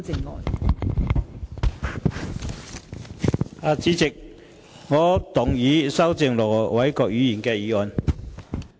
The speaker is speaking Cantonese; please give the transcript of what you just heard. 代理主席，我動議修正盧偉國議員的議案。